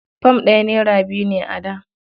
Fam ɗaya naira biyu ne a da.